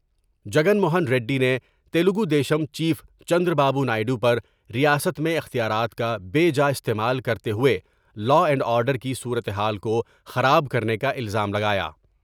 جگن موہن ریڈی نے تلگودیشم چیف چندرابابونائیڈ و پر ریاست میں اختیارات کا بے جا استعمال کرتے ہوئے لاءاینڈ آرڈر کی صورتحال کو خراب کرنے کا الزام لگایا ۔